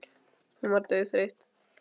Hún var dauðþreytt.